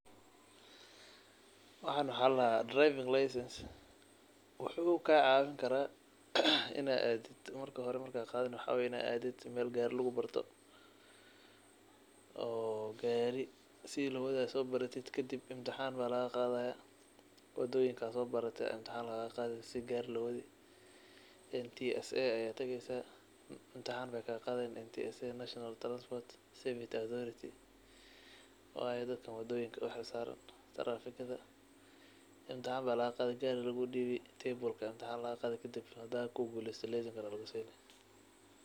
Waxan wax ladaha driving license wuxu rawa marka hore ad qadaneysid waxa lagarawa in ad adid meel gariga lugubarto oo gariga sida lowadayo so baratid kadib imtixan lagaqadaya oo wadoyinka sobarate imtixan lagaqadi NTSA ayad tageysa imtixan ayey kaqadayan National transport safety authority waye dadka adoyinka uxilsaran ee tarafikada imtixan aya lagaqadi gariga aya lugudibi kadib hada kuguleysato lesenka aya lugusini.